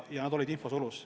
Inimesed olid infosulus.